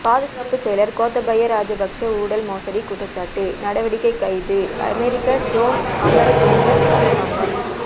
பாதுகாப்புச் செயலர் கோத்தாபய ராஜபக்ஷ ஊழல் மோசடி குற்றச்சாட்டு நடவடிக்கை கைது அமெரிக்கா ஜோன் அமரதுங்க அரசாங்கம்